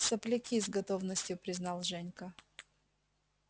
сопляки с готовностью признал женька